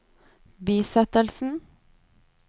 bisettelsen